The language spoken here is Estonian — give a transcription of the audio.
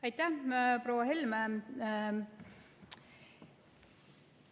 Aitäh, proua Helme!